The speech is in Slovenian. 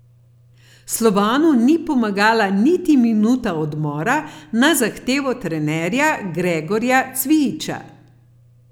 Slovanu ni pomagala niti minuta odmora na zahtevo trenerja Gregorja Cvijića.